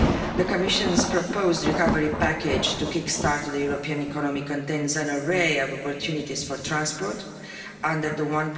The Commission's proposed recovery package to kick start the European economy contains an array of opportunities for transport under the EUR